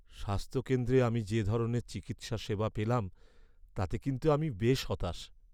স্বাস্থ্যকেন্দ্রে আমি যে ধরনের চিকিৎসা সেবা পেলাম তাতে আমি কিন্তু বেশ হতাশ।